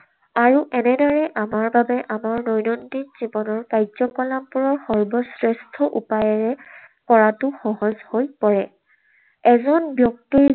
আৰু এনেদৰে আমাৰ বাবে আমাৰ দৈনন্দিন জীৱনৰ কাৰ্যকলাপৰো সৰ্বশ্ৰেষ্ঠ উপায়েৰে কৰাটো সহজ হৈ পৰে। এজন ব্যক্তিৰ